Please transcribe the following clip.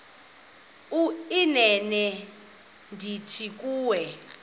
inene ndithi kuwe